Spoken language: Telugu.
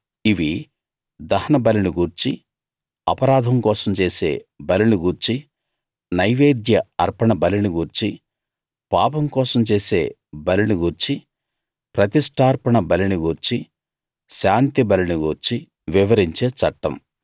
ఇవి దహనబలిని గూర్చీ అపరాధం కోసం చేసే బలిని గూర్చీ నైవేద్య అర్పణ బలిని గూర్చీ పాపం కోసం చేసే బలిని గూర్చీ ప్రతిష్టార్పణ బలిని గూర్చీ శాంతిబలిని గూర్చీ వివరించే చట్టం